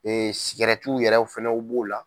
yɛrɛw fana b'o la.